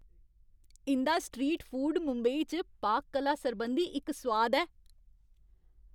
इं'दा street food Mumbai च पाक कला सरबंधी इक सोआद ऐ।